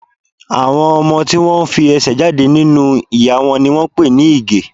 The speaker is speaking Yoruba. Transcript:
Àwọn ọmọ tí wón fi ẹsẹ̀ jáde nínú ìyá wọn ni wón ń pè ní Ìgẹ̀.